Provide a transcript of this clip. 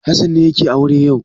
Hassan ne yake aure yau.